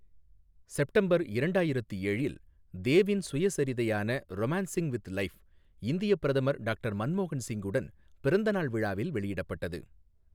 September இரண்டாயிரத்து ஏழில், தேவின் சுயசரிதையான 'ரொமான்சிங் வித் லைஃப்' இந்தியப் பிரதமர் டாக்டர் மன்மோகன் சிங்குடன் பிறந்த நாள் விழாவில் வெளியிடப்பட்டது.